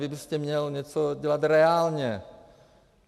Vy byste měl něco dělat reálně.